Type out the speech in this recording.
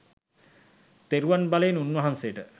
තෙරුවන් බලයෙන් උන්වහන්සේට